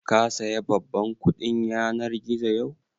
Ka saya babban kuɗin yanar gizon yau?